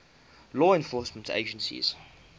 law enforcement agencies